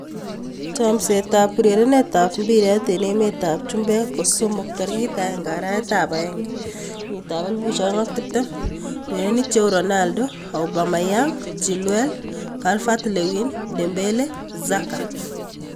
Chomset ab urerenet ab mbiret eng emet ab chumbek kosomok 01.01.2020: Ronaldo, Aubameyang, Chilwell, Calvert-Lewin, Dembele, Xhaka